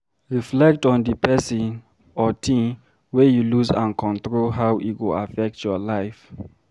Reflect on di person or thing wey you lose and control how e go affect your life